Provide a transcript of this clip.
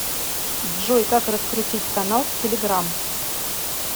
джой как раскрутить канал в телеграмм